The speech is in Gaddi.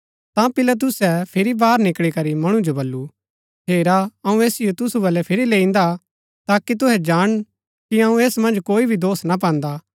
ता पिलातुसै फिरी बाहर निकळी करी मणु जो बल्लू हेरा अऊँ ऐसिओ तुसु बलै फिरी लैईन्दा ताकि तुहै जाणन कि अऊँ ऐस मन्ज कोई भी दोष ना पान्दा